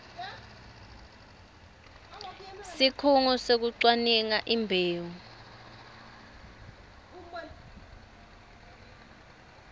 sikhungo sekucwaninga imbewu